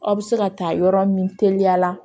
Aw bɛ se ka taa yɔrɔ min teliya la